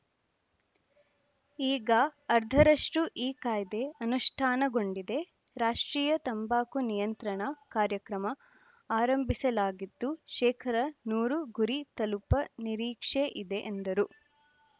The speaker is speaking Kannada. ಈಗ ಅರ್ಧದಷ್ಟುಈ ಕಾಯ್ದೆ ಅನುಷ್ಠಾನಗೊಂಡಿದೆ ರಾಷ್ಟ್ರೀಯ ತಂಬಾಕು ನಿಯಂತ್ರಣ ಕಾರ್ಯಕ್ರಮ ಆರಂಭಿಸಲಾಗಿದ್ದು ಶೇಕಡಾ ನೂರು ಗುರಿ ತಲುಪ ನಿರೀಕ್ಷೆ ಇದೆ ಎಂದರು